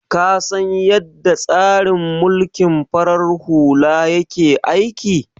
Ka san yadda tsarin mulkin farar hula yake aiki?